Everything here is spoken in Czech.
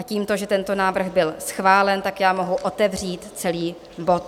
A tímto, že tento návrh byl schválen, tak já mohu otevřít celý bod.